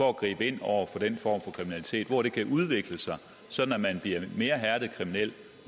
at gribe ind over for den form for kriminalitet hvor det kan udvikle sig sådan at man bliver en mere hærdet kriminel